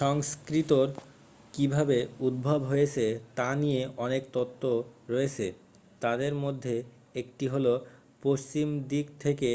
সংস্কৃতর কিভাবে উদ্ভব হয়েছে তা নিয়ে অনেক তত্ত্ব রয়েছে তাদের মধ্যে একটি হলো পশ্চিম দিক থেকে